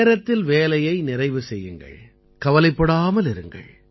நேரத்தில் வேலையை நிறைவு செய்யுங்கள் கவலைப்படாமல் இருங்கள்